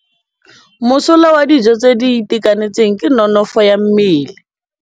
Mosola wa dijô tse di itekanetseng ke nonôfô ya mmele.